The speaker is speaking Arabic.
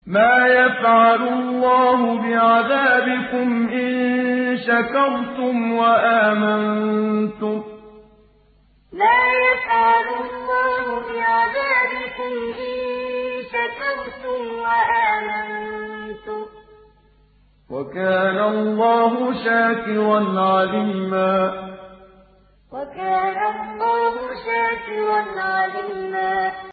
مَّا يَفْعَلُ اللَّهُ بِعَذَابِكُمْ إِن شَكَرْتُمْ وَآمَنتُمْ ۚ وَكَانَ اللَّهُ شَاكِرًا عَلِيمًا مَّا يَفْعَلُ اللَّهُ بِعَذَابِكُمْ إِن شَكَرْتُمْ وَآمَنتُمْ ۚ وَكَانَ اللَّهُ شَاكِرًا عَلِيمًا